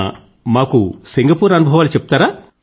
అయితే సింగపూర్ అనుభవాలు చెప్పండి